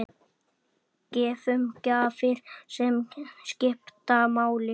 Gefum gjafir sem skipta máli.